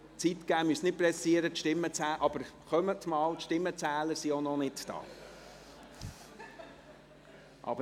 Sie brauchen sich nicht zu beeilen, aber kommen Sie einmal, die Stimmenzähler sind auch noch nicht hier.